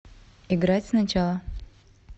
играть сначала